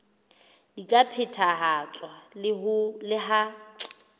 di ka phethahatswa le ha